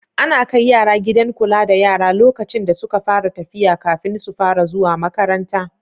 Ana kai yara gidan kula da yara lokacin da suka fara tafiya kafin su fara zuwa makaranta.